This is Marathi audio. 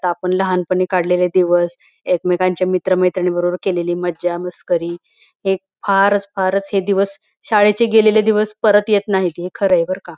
आता आपण लहान पणी काढलेले दिवस एकमेकांच्या मित्र मैत्रीन बरोबर केलेली मज्जा मस्करी हे फारच फारच हे दिवस शाळेचे गेलेले दिवस परत येत नाहीत हे खरय बर का.